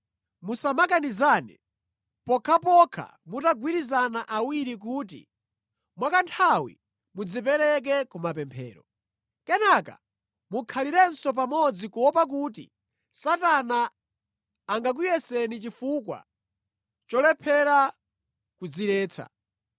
Musamakanizane, pokhapokha mutagwirizana awiri kuti mwakanthawi mudzipereke kumapemphero. Kenaka mukhalirenso pamodzi kuopa kuti Satana angakuyeseni chifukwa cholephera kudziretsa.